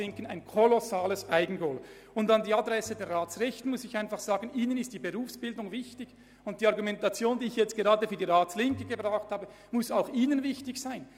An die Adresse der Ratsrechten möchte ich Folgendes sagen: Ihnen ist die Berufsbildung wichtig, und die Argumente, die ich gerade an die Adresse der Ratslinken vorgebracht habe, müssten auch Ihnen wichtig sein.